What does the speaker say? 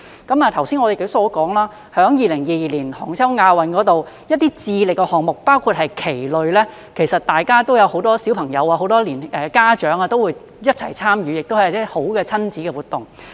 剛才我也說了，在2022年杭州亞運會上，一些智力的項目，包括棋類，其實有很多小朋友、家長也會一起參與，亦是一種好的親子活動。